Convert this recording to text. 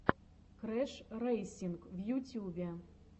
крэшрэйсинг в ютюбе